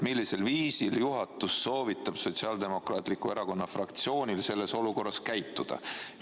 Millisel viisil juhatus soovitab Sotsiaaldemokraatliku Erakonna fraktsioonil selles olukorras käituda?